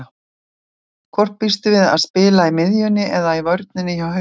Hvort býstu við að spila á miðjunni eða í vörninni hjá Haukum?